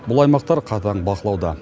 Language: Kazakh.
бұл аймақтар қатаң бақылауда